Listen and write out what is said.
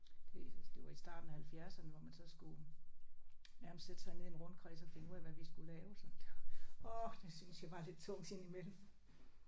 Det det var i starten af halvfjerdserne hvor man så skulle nærmest sætte sig ned i en rundkreds og finde ud af hvad vi skulle lave så det åh det synes jeg var lidt tungt indimellem